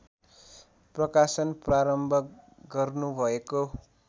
प्रकाशन प्रारम्भ गर्नुभएको